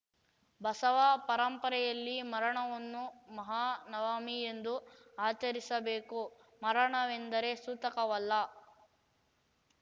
ಬಸವ ಪರಂಪರೆಯಲ್ಲಿ ಮರಣವನ್ನು ಮಹಾನವಮಿ ಎಂದು ಆಚರಿಸಬೇಕು ಮರಣವೆಂದರೆ ಸೂತಕವಲ್ಲ